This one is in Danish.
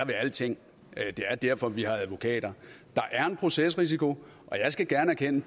ved alting det er derfor vi har advokater der er en procesrisiko og jeg skal gerne erkende